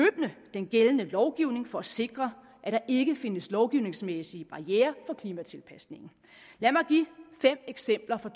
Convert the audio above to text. den gældende lovgivning for at sikre at der ikke findes lovgivningsmæssige barrierer for klimatilpasningen lad mig give fem eksempler fra